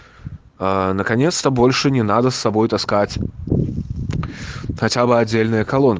наконец-то больше не надо с собой таскать хотя бы отдельно